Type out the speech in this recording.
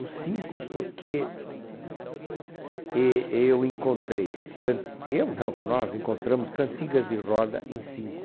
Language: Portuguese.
Os cinco porque e eu encontrei can, eu não, nós encontramos cantigas de roda em cinco.